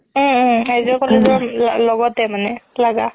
উম উম আৰ্য college ৰ লগতে মানে লাগা